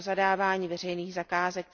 pro zadávání veřejných zakázek.